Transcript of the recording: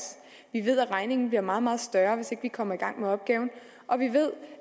vi ved at regningen bliver meget meget større hvis ikke vi kommer i gang med opgaven og vi ved